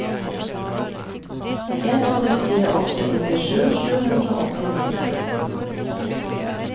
en åtte fire åtte nittisju sju hundre og åttini